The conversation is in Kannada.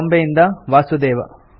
ಬಾಂಬೆಯಿಂದ ವಾಸುದೇವ